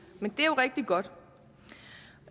men det er jo rigtig godt